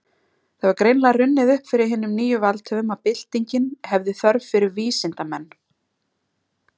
Það hefur greinilega runnið upp fyrir hinum nýju valdhöfum, að byltingin hefði þörf fyrir vísindamenn.